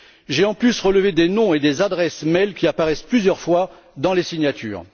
J'ai en outre relevé des noms et des adresses mail qui apparaissent plusieurs fois dans les signatures.